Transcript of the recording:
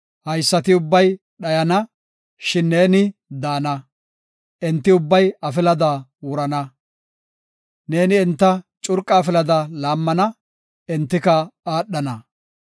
Haysati ubbay dhayana; shin neeni daana; enti ubbay afilada wurana. Neeni enta curqa afilada laammana; entika aadhana.